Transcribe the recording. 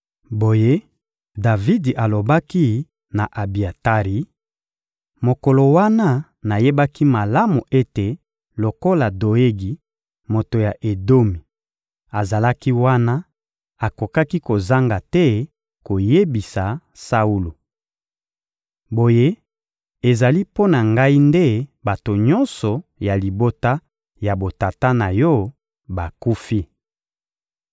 Boye Davidi alobaki na Abiatari: «Mokolo wana, nayebaki malamu ete lokola Doegi, moto ya Edomi, azalaki wana, akokaki kozanga te koyebisa Saulo. Boye ezali mpo na ngai nde bato nyonso ya libota ya botata na yo bakufi!